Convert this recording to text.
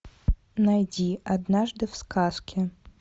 найди однажды в сказке